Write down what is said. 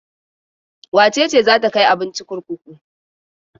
Wace ce za ta kai abinci kurkuku?